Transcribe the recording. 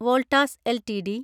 Voltas LTD